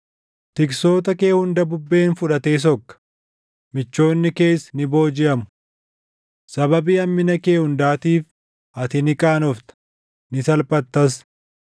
Tiksoota kee hunda bubbeen fudhatee sokka; michoonni kees ni boojiʼamu. Sababii hammina kee hundaatiif ati ni qaanofta; ni salphattas.